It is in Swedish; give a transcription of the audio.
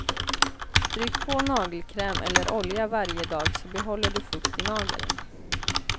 Stryk på nagelkräm eller olja varje dag så behåller du fukt i nageln.